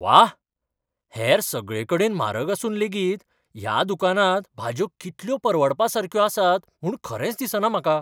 वाह, हेर सगळेकडेन म्हारग आसून लेगीत ह्या दुकानांत भाजयो कितल्यो परवडपा सारक्यो आसात म्हूण खरेंच दिसना म्हाका!